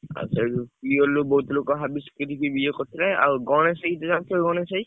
ଆଉ ସେଉଠୁ tubewell ରୁ ବହୁତ ଲୋକ ହାବିସ ଟିକେ ଟିକେ ଇଏ କରୁଥିଲେ। ଆଉ ଗଣେଶ ଭାଇଙ୍କୁ ଜାଣିଥିବ ଗଣେଶ ଭାଇ?